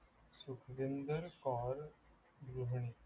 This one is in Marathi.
गृहिणी